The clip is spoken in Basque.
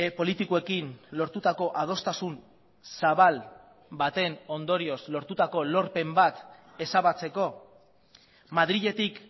politikoekin lortutako adostasun zabal baten ondorioz lortutako lorpen bat ezabatzeko madriletik